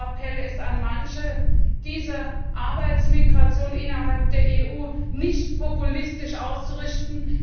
Mein Appell an manche ist, diese Arbeitsmigration innerhalb der EU nicht populistisch auszurichten.